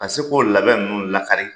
Ka se k'o labɛn minnu lakari